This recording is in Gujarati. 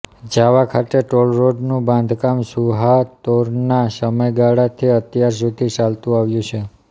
જાવા ખાતે ટોલરોડનું બાંધકામ સુહાર્તોના સમયગાળાથી અત્યાર સુધી ચાલતું આવ્યું છે